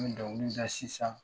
N bɛ dɔnkili da sisan